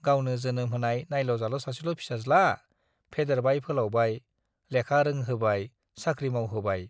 गावनो जोनोम होनाय नायल' जाल' सासेल' फिसाज्ला, फेदेरबाय फोलावबाय, लेखा रोंहोबाय, साख्रि मावहोबाय।